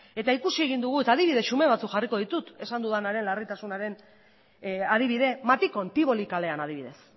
eta ikusi egin dugu adibide xume batzuk jarriko ditut esan dudanaren larritasunaren adibide matikon tivoli kalean adibidez